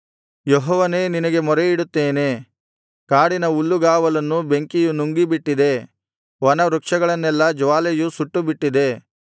ಯೆಹೋವನೇ ನಿನಗೆ ಮೊರೆಯಿಡುತ್ತೇನೆ ಕಾಡಿನ ಹುಲ್ಲುಗಾವಲನ್ನು ಬೆಂಕಿಯು ನುಂಗಿಬಿಟ್ಟಿದೆ ವನವೃಕ್ಷಗಳನ್ನೆಲ್ಲಾ ಜ್ವಾಲೆಯು ಸುಟ್ಟುಬಿಟ್ಟಿದೆ